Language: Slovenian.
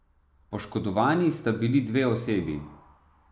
Poškodovani sta bili dve osebi.